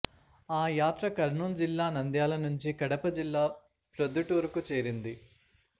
ఆ యాత్ర కర్నూలు జిల్లా నంద్యాల నుంచి కడప జిల్లా ప్రొద్దుటూరుకు చేరింది